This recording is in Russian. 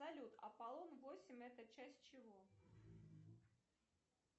салют апполон восемь это часть чего